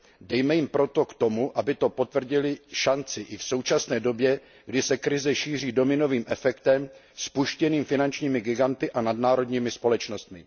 Dejme jim proto k tomu, aby to potvrdily, šanci i v současné době, kdy se krize šíří dominovým efektem spuštěným finančními giganty a nadnárodními společnostmi.